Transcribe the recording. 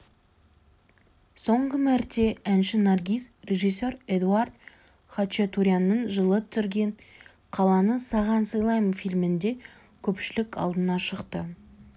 соңғы мәрте әнші наргиз режиссер эдуард хачатурянның жылы түсірген қаланы саған сыйлаймын фильмінде көпшілік алдына шықты